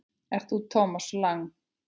Ert þú Thomas Lang?